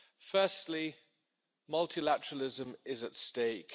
Firstly, multilateralism is at stake.